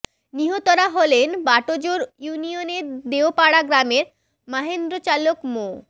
নিহতরা হলেন বাটাজোর ইউনিয়নের দেওপাড়া গ্রামের মাহেন্দ্র চালক মো